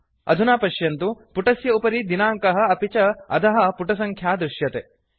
अधुना पश्यन्तु पुटस्य उपरि दिनाङ्कः अपि च अधः पुटसङ्ख्या दृश्यते